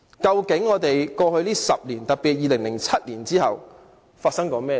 在過去10年，特別在2007年之後，究竟發生了甚麼事？